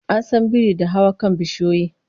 An san biri da hawa kan bishiyoyi